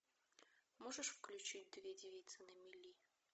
можешь включить две девицы на мели